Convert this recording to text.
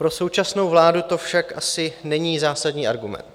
Pro současnou vládu to však asi není zásadní argument.